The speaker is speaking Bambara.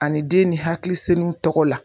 Ani den ni hakili senu tɔgɔ la.